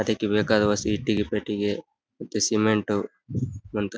ಅದಿಕ್ಕೆ ಬೇಕಾದ ವಸ್ ಇಟ್ಟಿಗೆ ಪಟ್ಟಿಗೆ ಮತ್ತೆ ಸಿಮೆಂಟ್ --